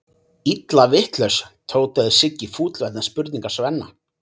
Illa vitlaus, tautaði Siggi fúll vegna spurningar Svenna.